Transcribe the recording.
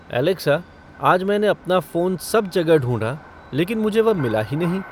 Alexa आज मैंने अपना फ़ोन सब जगह ढूँढा लेकिन मुझे वह मिला ही नहीं